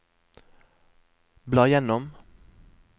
bla gjennom